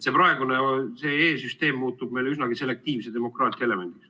See praegune e-süsteem muutub meil üsnagi selektiivse demokraatia elemendiks.